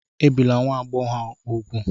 Ebila nwa agbọghọ úgwù!